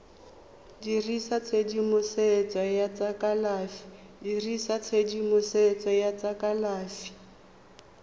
dirisa tshedimosetso ya tsa kalafi